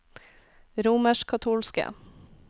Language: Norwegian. romerskkatolske